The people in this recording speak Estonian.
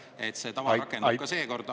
… et see tava rakendub ka seekord.